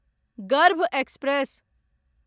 गर्भ एक्सप्रेस